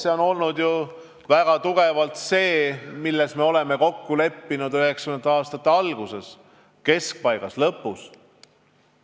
See on olnud väga kindlalt see, milles me oleme kokku leppinud 1990. aastate alguses, keskpaigas ja lõpus.